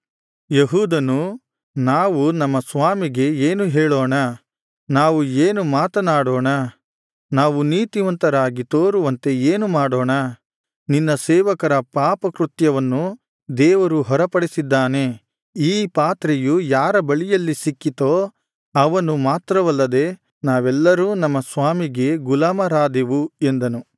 ಯೆಹೂದನು ನಾವು ನಮ್ಮ ಸ್ವಾಮಿಗೆ ಏನು ಹೇಳೋಣ ನಾವು ಏನು ಮಾತನಾಡೋಣ ನಾವು ನೀತಿವಂತರಾಗಿ ತೋರುವಂತೆ ಏನು ಮಾಡೋಣ ನಿನ್ನ ಸೇವಕರ ಪಾಪಕೃತ್ಯವನ್ನು ದೇವರು ಹೊರಪಡಿಸಿದ್ದಾನೆ ಈ ಪಾತ್ರೆಯು ಯಾರ ಬಳಿಯಲ್ಲಿ ಸಿಕ್ಕಿತೋ ಅವನು ಮಾತ್ರವಲ್ಲದೆ ನಾವೆಲ್ಲರೂ ನಮ್ಮ ಸ್ವಾಮಿಗೆ ಗುಲಾಮರಾದೆವು ಎಂದನು